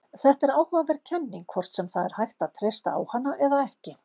Þetta er áhugaverð kenning, hvort sem það er hægt að treysta á hana eða ekki.